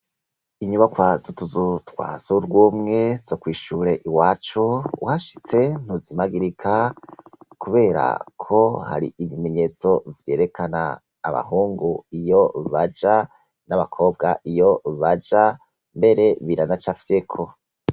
inyubako zutuzu twasurwumwe zo kwishure iwacu uhashitse ntuzimagirika kubera ko hari ibimenyetso vyerekana abahungu iyo baja n'abakobwa iyo baja mbere biranacafyeko